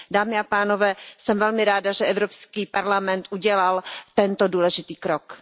Dámy a pánové, jsem velmi ráda, že Evropský parlament udělal tento důležitý krok.